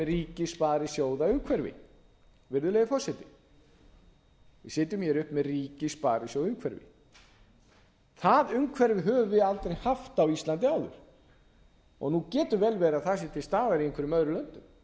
ríkisvaldið sjóðaumhverfi virðulegi forseti við sitjum hér uppi með ríkissparisjóðaumhverfi það umhverfi höfum við aldrei haft á íslandi áður nú getur vel verið að það sé til staðar í einhverjum öðrum löndum það bara getur vel